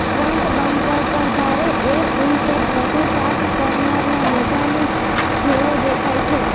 front bumper પર ભારે air intake વધુ શાર્ક કરનારના મોઢાની જેવો દેખાય છે